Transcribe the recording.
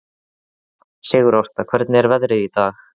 Sigurásta, hvernig er veðrið í dag?